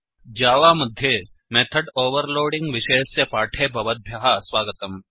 Java मध्ये method overloading विषयस्य पाठे भवद्भ्यः स्वागतम्